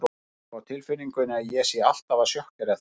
Ég hef á tilfinningunni að ég sé alltaf að sjokkera þig.